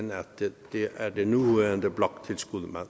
det er det nuværende bloktilskud